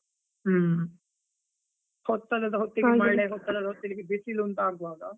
ಹೂಂ, ಹೊತ್ತಲ್ಲದಹೊತ್ತಿಗೆ ಮಳೆ, ಹೊತ್ತಲ್ಲದ ಹೊತ್ತಿಗೆ ಬಿಸಿಲು ಅಂತ ಆಗುವಾಗ.